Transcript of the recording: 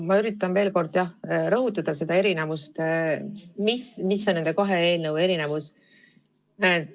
Ma üritan veel kord rõhutada seda erinevust, mis on nende kahe eelnõu vahel.